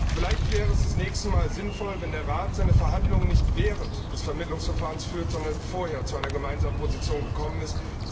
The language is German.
Vielleicht wäre es das nächste Mal sinnvoll, dass der Rat seine Verhandlungen nicht während des Vermittlungsverfahrens führt, sondern vorher zu einer gemeinsamen Position gekommen ist.